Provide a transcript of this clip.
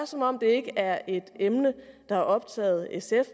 som om det ikke er et emne der har optaget sf